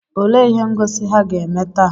Olee ihe ngosi ha ga-eme taa?